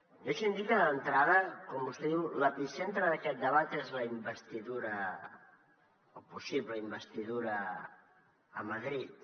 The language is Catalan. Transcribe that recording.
deixi’m dir que d’entrada quan vostè diu l’epicentre d’aquest debat és la investidura o possible investidura a madrid